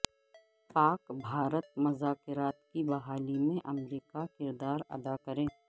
پاک بھارت مذاکرات کی بحالی میں امریکہ کردار ادا کرے